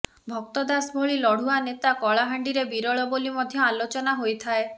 ଭକ୍ତଦାସ ଭଲି ଲଢୁଆ ନେତା କଳାହାଣ୍ଡିରେ ବିରଳ ବୋଲି ମଧ୍ୟ ଆଲୋଚନା ହୋଇଥାଏ